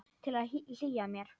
Til að hlýja mér.